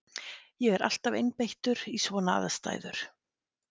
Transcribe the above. Ég er alltaf einbeittur í svona aðstæður.